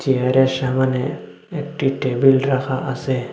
চেয়ারের সামোনে একটি টেবিল রাখা আছে।